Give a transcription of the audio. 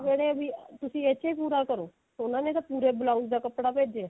ਉਹਨੇ ਬੀ ਤੁਸੀਂ ਇਸ ਵਿੱਚ ਪੂਰਾ ਕਰੋ ਉਹਨਾਂ ਨੇ ਤਾਂ ਪੂਰੇ blouse ਦਾ ਕੱਪੜਾ ਭੇਜਿਆ